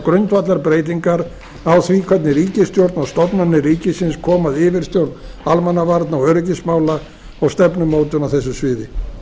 grundvallarbreytingar á því hvernig ríkisstjórn og stofnanir ríkisins koma að yfirstjórn almannavarna og öryggismála og stefnumótun á þessu sviði